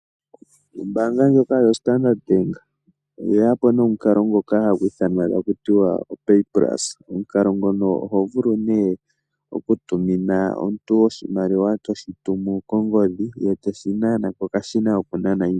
Ombaanga ndjoka yo Standard Bank oye yapo nomukalo ngoka hagu ithanwa tiwa opaypulse. Omukalo ngono oho vulu nee oku tumina omuntu oshimaliwa toshi tumu kongodhi, ye teshi nana kokashina koku nana iimaliwa.